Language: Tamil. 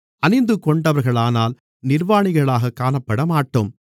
அணிந்துகொண்டவர்களானால் நிர்வாணிகளாகக் காணப்படமாட்டோம்